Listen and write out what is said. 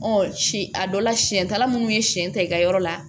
si a dɔ la siɲɛtala munnu ye siɲɛ ta i ka yɔrɔ la